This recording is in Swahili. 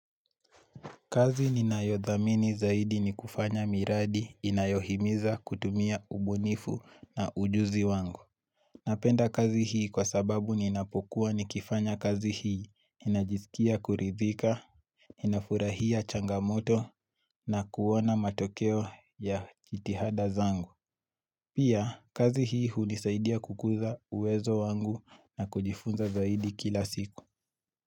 Kazi nina yo dhamini zaidi ni kufanya miradi inayohimiza kutumia ubunifu na ujuzi wangu. Napenda kazi hii kwa sababu ninapokuwa ni kifanya kazi hii ninajisikia kuridhika, inafurahia changamoto na kuona matokeo ya jitihada zangu. Pia kazi hii hunisaidia kukuza uwezo wangu na kujifunza zaidi kila siku.